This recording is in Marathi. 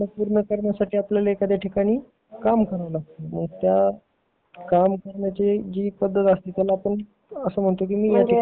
सप्न पूर्ण करण्यासाठी एखाद्या ठिकाणी काम कराव लागत त्या काम करण्याची पद्धत नौकरी म्हणतो